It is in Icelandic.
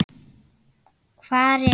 Hvar er